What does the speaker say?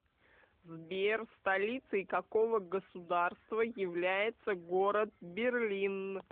сбер столицей какого государства является город берлин